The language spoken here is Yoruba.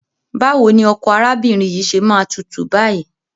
Báwo ni ọkọ arábìnrin yìí ṣe máa tútù báyìí?